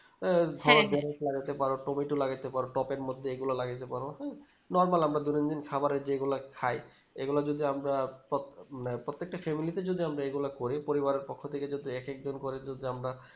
আহ লাগাতে পারো tomato তো লাগাতে পারো tub এর মধ্যে এগুলা লাগাতে পারো Normal দৈনন্দিন খাবারে যেগুলা খায় এগুলা যদি আমরা প্রোপ্রত্যেকটা Family তে যদি আমরা এগুলা করি পরিবারের পক্ষ থেকে এক এক জন করে যদি আমরা